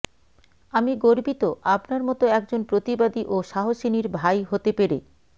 আমি গর্বিত আপনার মত একজন প্রতিবাদী ও সাহসীনির ভাই হতে পেরে